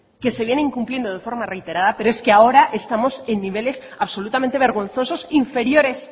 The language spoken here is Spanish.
que se viene incumpliendo de forma reiterada pero es que ahora estamos en niveles absolutamente vergonzosos inferiores